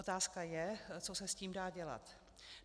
Otázka je, co se s tím dá dělat.